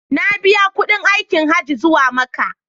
Na biya kuɗin aikin Hajji zuwa Makka.